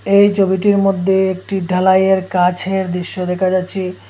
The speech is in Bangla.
এই চবিটির মদ্যে একটি ঢালাইয়ের কাছের দিশ্য দেখা যাচ্চে।